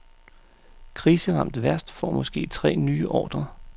Kriseramt værft får måske tre nye ordrer.